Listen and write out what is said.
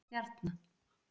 Stjarna